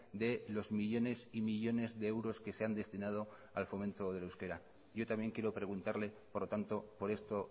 de los millónes y millónes de euros que se han destinado al fomento del euskera yo también quiero preguntarle por lo tanto por esto